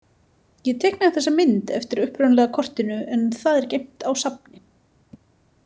Ég teiknaði þessa mynd eftir upprunalega kortinu en það er geymt á safni.